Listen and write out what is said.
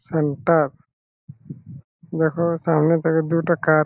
Fan তা সামনে থাকে দুটা কার ।